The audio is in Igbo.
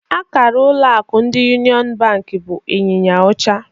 Akara ụlọ akụ ndi Yuniọn bank bụ ịnyịnya ọcha